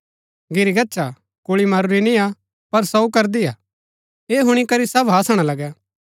घिरी गच्छा कुल्ळी मरूरी निय्आ पर सोऊ करदी हा ऐह हुणी करी सब हासणा लगै